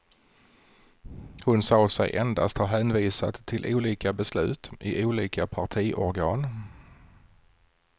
Hon sade sig endast ha hänvisat till olika beslut i olika partiorgan.